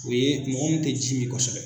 O ye mɔgɔ mun tɛ ji min kosɛbɛ.